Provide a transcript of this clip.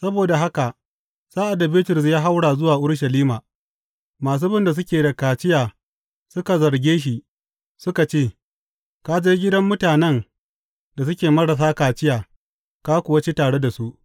Saboda haka sa’ad da Bitrus ya haura zuwa Urushalima, masu bin da suke da kaciya suka zarge shi suka ce, Ka je gidan mutanen da suke marasa kaciya ka kuwa ci tare da su.